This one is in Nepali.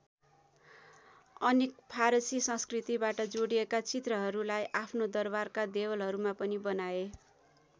अनेक फारसी संस्कृतिबाट जोडिएका चित्रहरूलाई आफ्नो दरबारका देवलहरूमा पनि बनाए।